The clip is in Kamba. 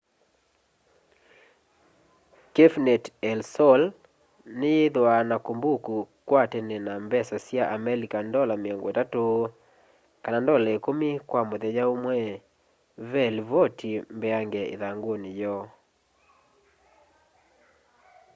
cafenet el sol niyithwaa na kumbuku kwa tene na mbesa sya amelika ndola 30 kana ndola ikumi kwa muthenya umwe ve livoti mbeange ithanguni yoo